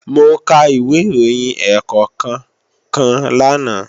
Mo ka ìwé ìròyìn ẹ̀ẹ̀kọ̀kan kan lánàá